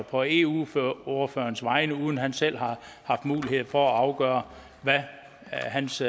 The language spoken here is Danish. på eu ordførerens vegne uden at han selv har haft mulighed for at afgøre hvad hans